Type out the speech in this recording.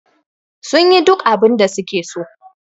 su yi duk abinda suke so